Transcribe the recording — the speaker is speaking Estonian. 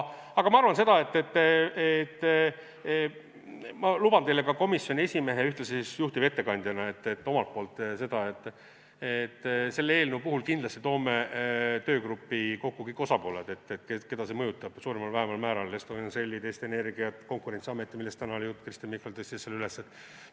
Aga ma luban teile komisjoni esimehe ja ühtlasi juhtivettekandjana seda, et selle eelnõu puhul me kindlasti toome töögruppi kokku kõik osapooled, keda see suuremal või vähemal määral mõjutab, Estonian Celli, Eesti Energia, Konkurentsiameti, millest täna oli juttu, Kristen Michal tõstis selle teema üles.